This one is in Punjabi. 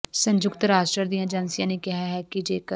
ਸੰਯੁਕਤ ਰਾਸ਼ਟਰ ਦੀਆਂ ਏਜੰਸੀਆਂ ਨੇ ਕਿਹਾ ਹੈ ਕਿ ਜੇਕਰ